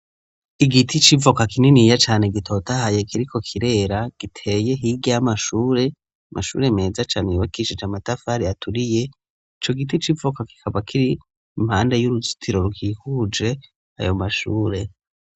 Igiti civoka kininiya cane gitotahaye kiriko kirera, giteye hirya y'amashure, mashure meza cane ibakishije amatafari aturiye, ico giti c'Ivoka kikaba kiri impande y'uruzitiro rwihuje ayo mashure..